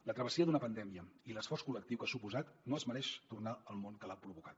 la travessia d’una pandèmia i l’esforç col·lectiu que ha suposat no es mereixen tornar al món que l’ha provocat